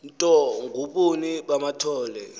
ntoni ngobuni bamathole